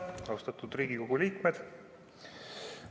Austatud Riigikogu liikmed!